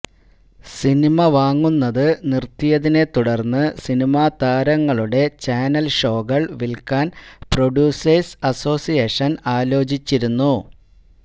cinema വാങ്ങുന്നത് നിര്ത്തിയതിനെത്തുടര്ന്ന് സിനിമാതാരങ്ങളുടെ ചാനല് ഷോകള് വിലക്കാന് പ്രൊഡ്യൂസേഴ്സ് അസോസിയേഷന് ആലോചിച്ചിരുന്നു